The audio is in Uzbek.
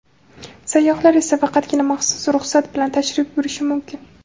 Sayyohlar esa faqatgina maxsus ruxsat bilan tashrif buyurishi mumkin.